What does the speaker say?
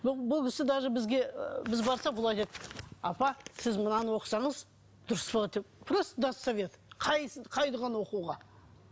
бұл кісі даже бізге біз барсақ бұл айтады апа сіз мынаны оқысаңыз дұрыс болады деп просто достоверно қайсысы қай дұғаны оқуға